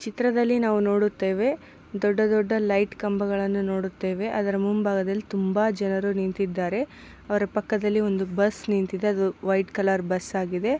ಚಿತ್ರದಲ್ಲಿ ನಾವು ನೋಡುತ್ತೇವೆ ದೊಡ್ಡ ದೊಡ್ಡ ಲೈಟ್ ಕಂಬಗಳನ್ನು ನೋಡುತ್ತೇವೆ. ಅದರ ಮುಂಭಾಗದಲ್ಲಿ ತುಂಬಾ ಜನರು ನಿಂತಿದ್ದಾರೆ ಅವರ ಪಕ್ಕದಲ್ಲಿ ಒಂದು ಬಸ್ ನಿಂತಿದೆ ಅದು ವೈಟ್ ಕಲರ್ ಬಸ್ಸಾಗಿದೆ .